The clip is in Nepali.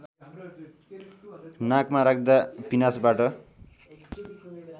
नाकमा राख्दा पिनासबाट